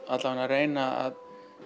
reyna að